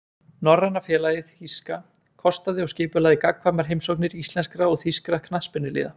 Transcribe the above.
Norræna félagið þýska kostaði og skipulagði gagnkvæmar heimsóknir íslenskra og þýskra knattspyrnuliða.